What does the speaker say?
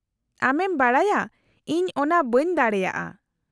-ᱟᱢᱮᱢ ᱵᱟᱰᱟᱭᱟ ᱤᱧ ᱚᱱᱟ ᱵᱟᱹᱧ ᱫᱟᱲᱮᱭᱟᱜᱼᱟ ᱾